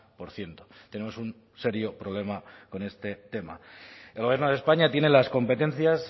por ciento tenemos un serio problema con este tema el gobierno de españa tiene las competencias